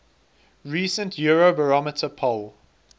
recent eurobarometer poll